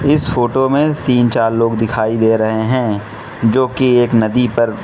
इस फोटो में तीन चार लोग दिखाई दे रहे हैं जोकि एक नदी पर --